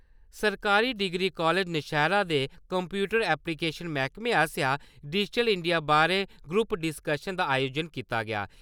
सरकारी degree college Nowshera दे computer application मैह्कमें आस्सेआ डिजिटिल इंडिया बारै ग्रुप डिशकशन दा आयोजन कीता गेआ।